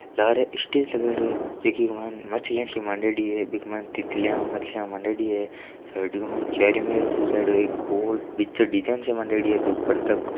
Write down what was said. लार स्टेज लगायेडो है जीके माइन मछलियां सी माडेडी है --